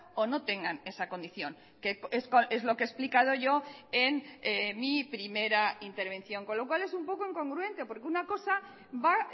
o no tengan esa condición que es lo que he explicado yo en mi primera intervención con lo cual es un poco incongruente porque una cosa va